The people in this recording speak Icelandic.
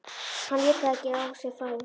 Hann lét það ekki á sig fá.